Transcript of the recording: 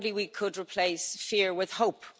If only we could replace fear with hope.